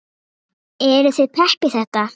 Eruð þið pepp í þetta?